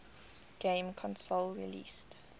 game console released